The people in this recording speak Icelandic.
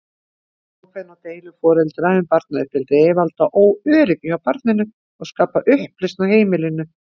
Óákveðni og deilur foreldra um barnauppeldi valda óöryggi hjá barninu og skapa upplausn á heimilinu.